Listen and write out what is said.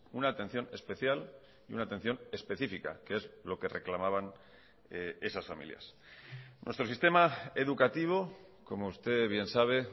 una atención especial y una atención específica que es lo que reclamaban esas familias nuestro sistema educativo como usted bien sabe